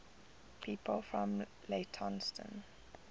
people from leytonstone